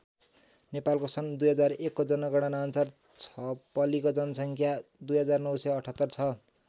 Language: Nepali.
नेपालको सन् २००१ को जनगणना अनुसार छपलीको जनसङ्ख्या २९७८ छ।